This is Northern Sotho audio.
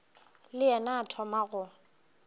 le yena o thoma go